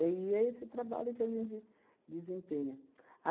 e é esse trabalho que a gente desempenha.